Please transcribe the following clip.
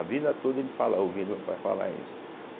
A vida toda ele fala, ouvia meu pai vai falar isso.